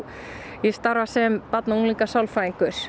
ég starfa sem barna og